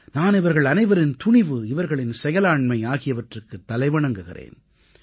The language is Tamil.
நான் இவர்கள் அனைவரின் துணிவு இவர்களின் செயலாண்மை ஆகியவற்றுக்கு தலைவணங்குகிறேன்